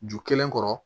Ju kelen kɔrɔ